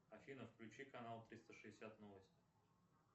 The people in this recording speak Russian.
афина включи канал триста шестьдесят новости